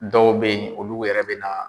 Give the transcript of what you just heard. Dɔw be yen ,olu yɛrɛ be na